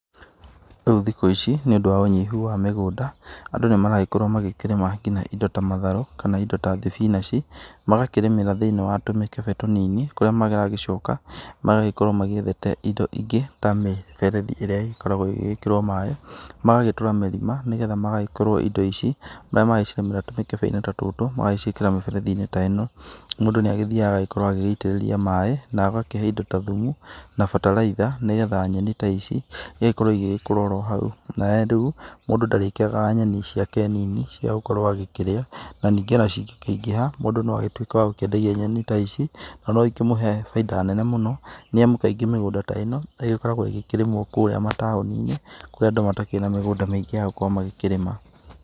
Rĩũ thikũ ici niundu wa ũnyihu wa mĩgũnda, andũ nĩmaragĩkorwo magĩkĩrĩma nginya indo ta matharũ, kana indo ta thibinaci, magakĩrĩmĩra thĩinĩ wa tũmĩkebe tũnini kũrĩa maragĩcoka ,maragĩkorwa magĩethete indo ingĩ ta mĩberethi ĩrĩa ĩragĩkĩrwa ĩgĩkĩrwa maĩ, magagĩtũra marima nĩgetha magagĩkorwo indo ici rĩrĩa makĩrĩmĩra tũmĩkebe ta tũtũ magaciĩkĩra mĩberethi ta ĩno, mũndũ nĩagĩthiaga agaĩkorwo agĩitĩrĩria maĩ na ahake indo ta thumu na bataraitha nĩgetha nyeni ta ici, igagĩkorwo ĩgĩkũra ohau, na we rĩũ, mũndũ ndarĩĩkĩraga nyeni ciake nini ciagĩkorwo agĩkĩrĩa, na ningĩ ona cingĩkĩingĩha, mũndũ noagĩtwĩke wa gũkĩendagia nyeni ta ici na noikĩmũhe baida nene mũno, nĩamu kaingĩ mĩgunda ta ĩno ĩgĩkoragwo ĩgĩkĩrĩmwo kũrĩa mataũninĩ, kũrĩa mataũni-inĩ kũrĩa andũ matarĩ na mĩgũnda mĩingĩ yagũkorwo magĩkĩrĩma.